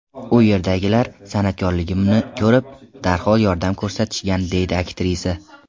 U yerdagilar san’atkorligimni ko‘rib, darhol yordam ko‘rsatishgan”, deydi aktrisa.